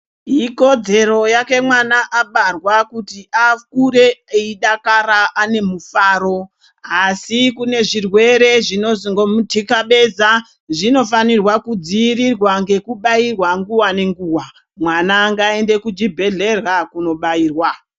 Ikodzero yake mwana abarwa kuti akure eidakara ane mufaro. Asi kune zvirwere zvinozongomu tikabeza, zvinofana kudzivirirwa nekubairwa nguwa nenguwa Mwana ngaende kuchibhehlera kunobairwa.